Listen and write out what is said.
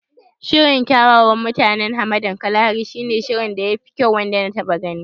Shirin kyawawan mutanen hamadan Kalahari shi ne shirin da ya fi kyau wanda na taɓa gani.